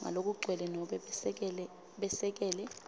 ngalokugcwele nobe besekele